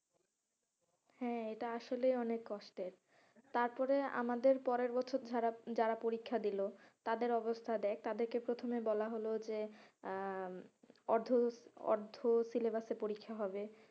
হ্যাঁ, এটা আসলেই অনেক কষ্টের তারপরে আমাদের পরের বছর যারা পরীক্ষা দিলো, তাদের অবস্থা দেখ তাদেরকে প্রথমে বলা হলো যে আহ অর্ধ, অর্ধ syllabus এ পরীক্ষা হবে,